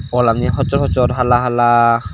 walani hossor hossor hala hala.